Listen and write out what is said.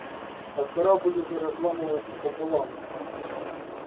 а корабль уже разламывается пополам